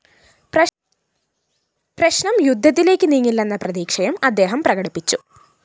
പ്രശ്‌നം യുദ്ധത്തിലേക്ക് നീങ്ങില്ലെന്ന പ്രതീക്ഷയും അദ്ദേഹം പ്രകടിപ്പിച്ചു